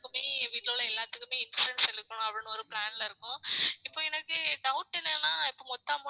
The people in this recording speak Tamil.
வீட்டுல உள்ள எல்லாத்துக்குமே insurance எடுக்கணும் அப்படின்னு ஒரு plan ல இருக்கோம் இப்ப எனக்கு doubt என்னன்னா இப்ப மொத்த amount உமே